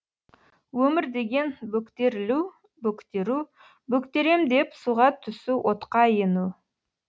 өмір деген бөктерілу бөктеру бөктерем деп суға түсу отқа ену